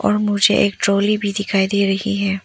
और मुझे एक ट्राली भी दिखाई दे रही है।